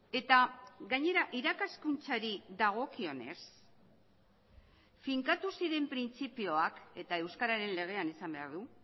eta gainera irakaskuntzari dagokionez finkatu ziren printzipioak eta euskararen legean izan behar du